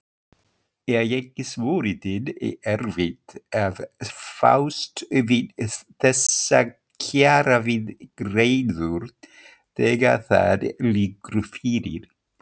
Er ekki svolítið erfitt að fást við þessar kjaraviðræður þegar það liggur fyrir?